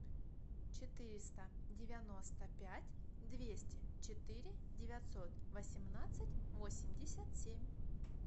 четыреста девяносто пять двести четыре девятьсот восемнадцать восемьдесят семь